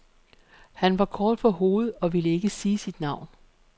Han var kort for hovedet og ville ikke sige sit navn.